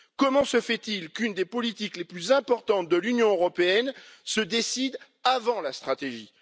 Comment se fait il qu'une des politiques les plus importantes de l'Union européenne se décide avant la stratégie?